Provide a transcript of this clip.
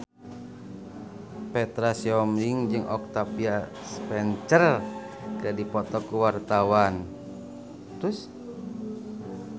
Petra Sihombing jeung Octavia Spencer keur dipoto ku wartawan